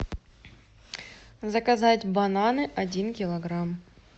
заказать бананы один килограмм